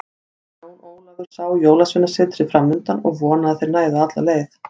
Jón Ólafur sá Jólasveinasetrið framundan og vonaði að þeir næðu alla leið.